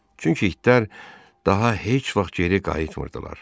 Çünki itlər daha heç vaxt geri qayıtmırdılar.